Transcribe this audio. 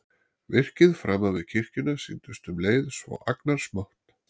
Virkið framan við kirkjuna sýndist um leið svo agnarsmátt.